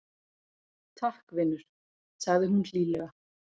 Takk, vinur- sagði hún hlýlega.